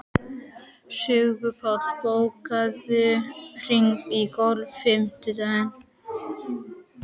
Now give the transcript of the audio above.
Sigurbaldur, bókaðu hring í golf á fimmtudaginn.